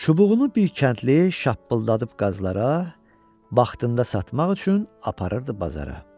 Çubuğunu bir kəndli şappıldadıb qazlara vaxtında satmaq üçün aparırdı bazara.